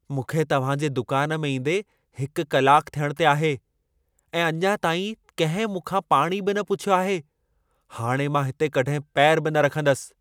मूंखे तव्हां जे दुकान में ईंदे हिकु कलाकु थियण ते आहे, ऐं अञा ताईं कंहिं मूंखां पाणी बि न पुछियो आहे। हाणे मां हिते कॾहिं पेरु बि न रखंदसि।